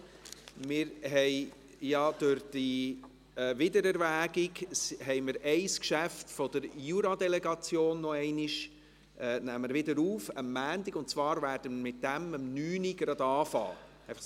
Wir nehmen ja durch diese Wiedererwägung ein Geschäft der Juradelegation am Montag noch einmal auf, und zwar werden wir gleich um 9 Uhr damit beginnen.